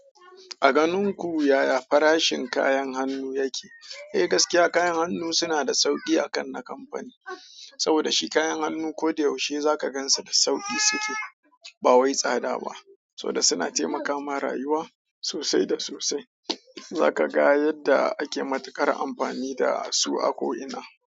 A ganin ku yaya farashin kayan hannu yake? Eh gaskiya kayan hannu suna da sauki a kan na kwamfuni saboda shi kayan hannu ko da yaushe za ka gansu da sauki suke, ba wai tsada ba. Saboda suna taimaka mun rayuwa sosai da sosai. Za ka ga yadda ake matukar amfani da su a ko ina.